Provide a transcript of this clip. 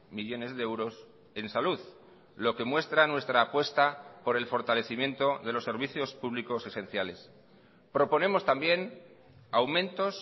millónes de euros en salud lo que muestra nuestra apuesta por el fortalecimiento de los servicios públicos esenciales proponemos también aumentos